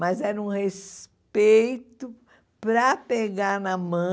Mas era um respeito para pegar na mão.